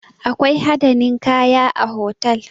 Akwai hada ninkaya a hotal